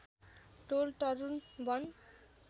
टोल तरुल वन